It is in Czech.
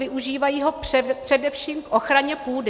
Využívají ho především k ochraně půdy.